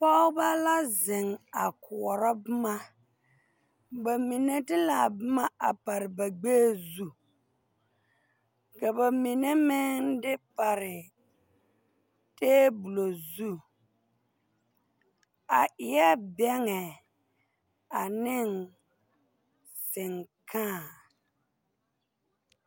Pɔɔbɔ la zeŋ a koɔrɔ bomma ba mine de laa bomma a pare ba gbɛɛ zu ka ba mine meŋ pare tabolɔ zu a eɛɛ bɛŋɛ aneŋ sengkãã.